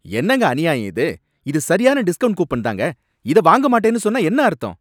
என்னங்க அநியாயம் இது! இது சரியான டிஸ்கவுண்ட் கூப்பன் தாங்க, இத வாங்க மாட்டேன்னு சொன்னா என்ன அர்த்தம்?